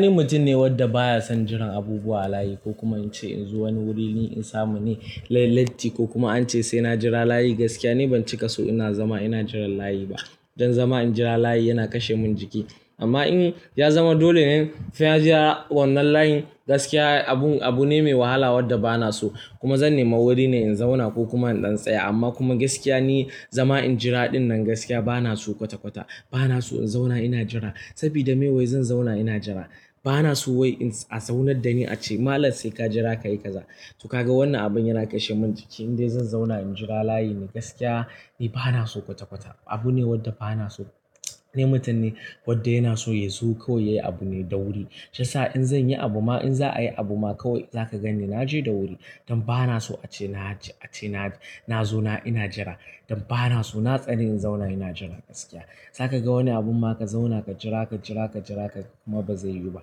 Ni mutum ne wanda baya son jiran abubuwa a layi ko kuma in ce in zo wani wuri na samu ne ya letti ko kuma a ce sai na jira layi. Ni ban cika so ina zama ina jiran layi ba. Don zama in jira layi yana kashe min jiki. Amman in yazama dolene sai na jira wannan layin gaskiya abune mai wahala wanda banaso kuma zan nemi wuri ne in zauna ko kuma indan tsaya. Amma kuma gaskiya ni zama in jira dinnan gaskiya bana so kwata-kwata. Bana so in zauna ina jira. Saboda me wai zan zauna ina jira? Bana so wai a zaunar da ni a ce malam sai ka jira ka yi kaza. To kaga wannan abun yana kashe mun jiki indai zan sauna na jira layine ni bana son wanna abu kwata kwata. Abu ne wanda bana so. Ni mutum ne wanda baya son jiran abubuwa a layi ko kuma in ce in zo wani wuri na samu ne lai latti ko kuma an ce sai na jira layi. Shiyasa in zanyi abu ma in za a yi abu ma kawai za ka gan ni na je da wuri. Don bana so a ce na zo na ina jira. Don bana so na tsane in zauna ina jira gaskiya. Za ka ga wanni abun ma ka zauna ka jira, ka jira, ka jira kuga kaman ba zai yiwu ba.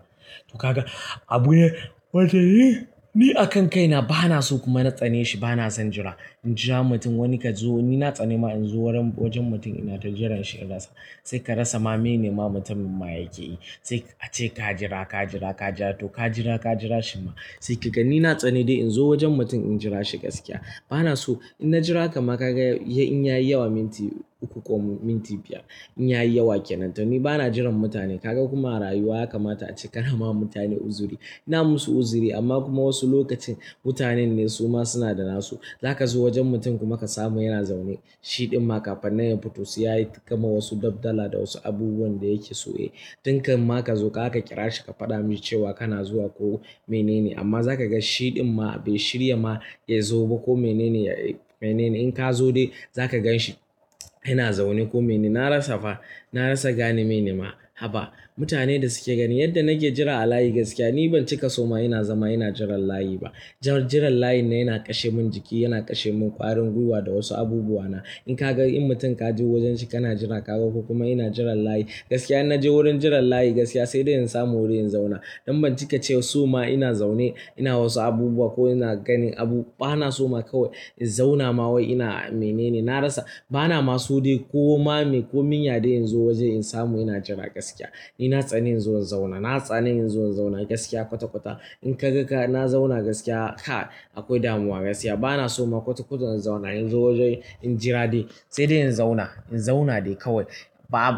To ka ga abune wanda ni a kan kai na bana so kuma na tsane shi. Bana son jira. In jira mutum wani ka zo, ni na tsane ma in zo wurin wajen mutum ina tujiran shi ya latsa. Sai ka rasa mene ma mutumin ma yake yi. Sai a ce ka jira, ka jira, ka jira to ka jira, ka jira shi ma. Sai ka gan ni na tsani dai in zo wajen mutum in jira shi gaskiya bana so. In na jira kuma ka ga in yayi yawa minti uku ko minti biyar, in yayi yawa ke nan. To ni bana jiran mutane. Ka ga kuma a rayuwa yakamata a ce ka nama mutane uzuri. iNa musu uzuri amma kuma wasu lokacin mutanen ne su ma suna da na su. Za ka zo wajen mutum kuma ka samu yana zaune. Shidin ma kafinnan yafito sai yayi kaman wasu dafdala da wasu abubuwan da yake so yayi tun kafin kazo zaka kirashi kafada misi kaga kana zuwa amma zakagani shidin ma bai shirya yazo ba ko nene in ka zo dai za ka gan shi yana zaune ko mene. Na rasa fa, na rasa gane mene ma. Haba. Mutane da suke gani yadda nake jira a layi gaskiya ni ban cika so ma ina zama ina jiran layi ba. Jiran layin nan yana kashe min jiki, yana kashe min ƙwarin gwiwa da wasu abubuwa na. In ka gan in mutum ka je wajen shi kana jira ka ga ko kuma ina jiran layi. Gaskiya in na je wurin jiran layi gaskiya sai dai in samu wuri in zauna. Dan bancika so ma ina zaune ina wasu abubuwan ko ina ganin abu bana ma so kawai in zauna ma kawai banaso kodai yane nazo waje na zauna ina jira gaskiya. Ni na tsane in zo in zauna. Na tsane in zo in zauna gaskiya kwata-kwata. In ka ga ka na zauna gaskiya, kai akwai damuwa gaskiya. Bana so ma kwata-kwata in zauna. In zo waje in jira dai sai dai in zauna. In zauna dai kawai.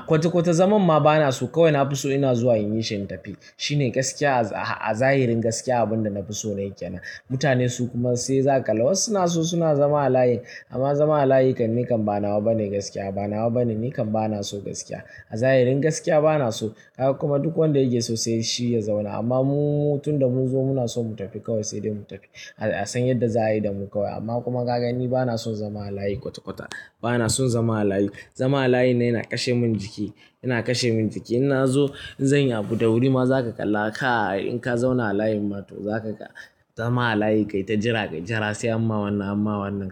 Kwata-kwata zaman ma bana so. Kawai na fi so ina zuwa in yi shi in tafi. Shi ne gaskiya. A zahirin gaskiya abunda nafiso nayi kenan. Mutane su kuma sai za ka kalla wasu suna so suna zama a layin amma zama a layi kan ni kan ba nawa bane gaskiya. Ba nawa bane ni kan bana so gaskiya. A zahirin gaskiya bana so. Kaga kuma duk wanda yake so sai shi ya zauna. Amma mu tunda mun zo muna so mu tafi kawai sai dai mu tafi. aSan yadda za a yi da mu kawai. Amma kuma ka gan ni bana son zama a layi kwata-kwata. Bana son zama a layi. Zama a layin nan yana kashe min jiki, yana kashe min jiki. In na zo in zanyi abu da wuri ma za ka kalla kai in ka zauna a layi ma to za ka ga zama a layi kai ta jira, kai jira sai amma wannan, amma wannan.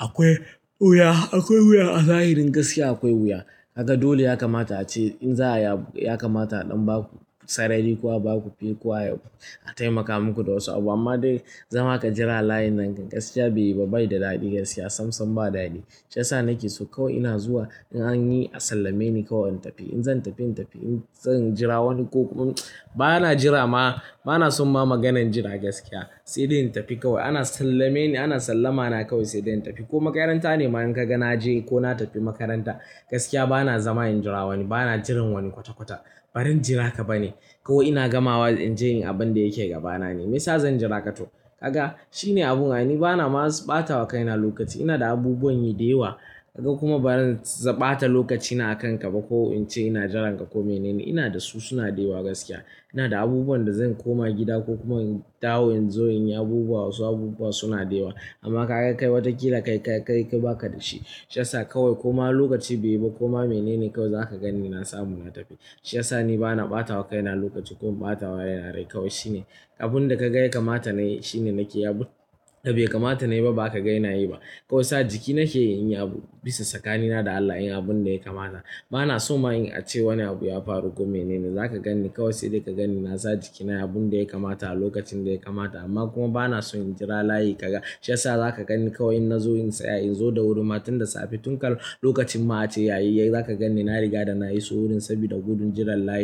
Akwai wuya, akwai wuya a zahirin gaskiya akwai wuya. Kaga dole yakamata a ce in za a yi abu yakamata ɗan ba ku sarari ku a ba ku fe kuwa a taimaka muku da wasu abu. Amma dai zama ka jira a layi nan gaskiya baiyi ba bai da daɗi gaskiya. Sam sam ba daɗi. Shiyasa nake so kawai ina zuwa in an yi a sallame ni kawai in tafi. In zan tafi in tafi. In zan jira wani kokuma bana jira ma. Bana son ma maganan jira gaskiya sai dai in tafi kawai. Ana sallame ni, ana sallama na kawai sai dai in tafi. Ko makaranta ne ma in ka gan na je ko na tafi makaranta gaskiya bana zama in jira wani. Bana jiran wani kwata-kwata. Baran jira ka bane kawai ina gamawa inje inyi abunda yake gabana. Me yasa zan jira ka to? Kaga shi ne abun ai. Ni bana ma ɓata wa kaina lokaci. Ina da abubuwan yi da yawa. Kaga kuma bazan ɓata lokaci na a kan ka ba ko in ce ina jiran ka ko mene ne. Ina da su suna da yawa gaskiya. Ina da abubuwan da zan koma gida ko kuma in dawo in zo in yi abubuwa wasu abubuwa suna da yawa. Amma ka gan kai watakila kai baka da shi. Shiyasa kawai ko ma lokaci bai yi ba ko ma mene ne kawai za ka gan ni na samu na tafi. Shiyasa ni bana ɓata wa kaina lokaci ko in ɓata wa rai na rai kawai. Shi ne abun da ka ga yakamata na yi shi ne nake yi. Abunda be kamata nayi ba bazaka ga inayi ba kawai sa jiki nake yin abu bisa tsakanina da Allah. Yin abun da ya kamala. Bana so ma in a ce wani abu ya faru ko mene ne. Za ka gan ni kawai sai dai ka gan ni na sa jiki na yi abun da ya kamata a lokacin da ya kamata. Amma kuma bana so in jira layi ka ga. Shiyasa zaka ganni kawai innazo in tsaya inzo da wuri tunda safe tun kan lokacin ma a ce yayi za ka gan ni na riga da na iso wurin sabida gudun jiran layi.